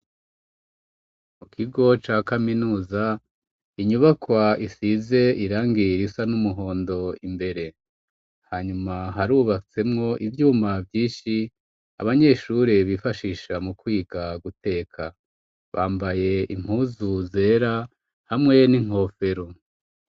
Mu kigo ca kaminuza, inyubakwa isize irangi risa n'umuhondo imbere. Hanyuma harubatsemwo ivyuma vyinshi, abanyeshure bifashisha mu kwiga guteka. Bambaye impuzu zera hamwe n'inkofero.